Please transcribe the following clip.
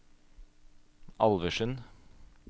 Alversund